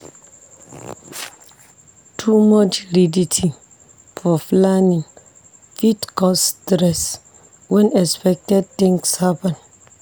Too much rigidity for planning fit cause stress when unexpected things happen.